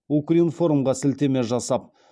укринформ ға сілтеме жасап